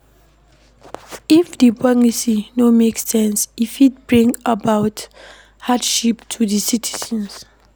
If di policy no make sense e fit bring about hardship to di citizens